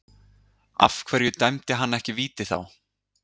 Af hverju dæmdi hann ekki víti þá?